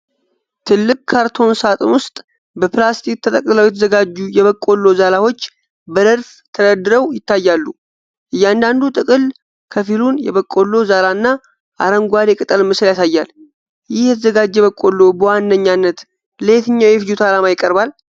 ትልቅ ካርቶን ሳጥን ውስጥ በፕላስቲክ ተጠቅልለው የተዘጋጁ የበቆሎ ዛላዎች በረድፍ ተደርድረው ይታያሉ። እያንዳንዱ ጥቅል ከፊሉን የበቆሎ ዛላና አረንጓዴ ቅጠል ምስል ያሳያል። ይህ የተዘጋጀ በቆሎ በዋናነት ለየትኛው የፍጆታ ዓላማ ይቀርባል?